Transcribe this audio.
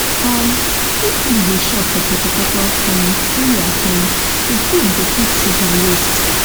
um if fish dey chop for poto poto um area um the food go fit sink and waste